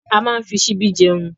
A máa n fí síbí jẹun.